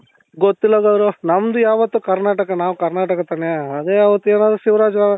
ಗೊತ್ತಿಲ್ಲ ದೇವ್ರು ನಮ್ದು ಯಾವತ್ತು ಕರ್ನಾಟಕ ನಾವು ಕರ್ನಾಟಕ ತಾನೆ ಅದೇ ಅವತು ಏನಾದ್ರು ಶಿವರಾಜು